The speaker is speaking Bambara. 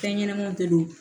Fɛn ɲɛnɛmanw de don